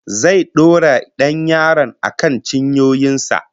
Zai dora dan yaron akan cinyoyin sa